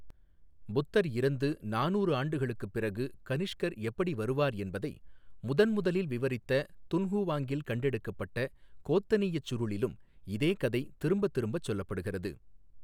புத்தர் இறந்து நானூறு ஆண்டுகளுக்குப் பிறகு கனிஷ்கர் எப்படி வருவார் என்பதை முதன்முதலில் விவரித்த துன்ஹுவாங்கில் கண்டெடுக்கப்பட்ட கோத்தனீயச் சுருளிலும் இதே கதை திரும்பத் திரும்பச் சொல்லப்படுகிறது.